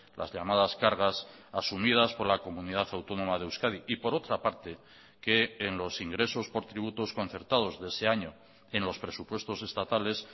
las llamadas cargas asumidas por la comunidad autónoma de euskadi y por otra parte que en los ingresos por tributos concertados de ese año en los presupuestos estatales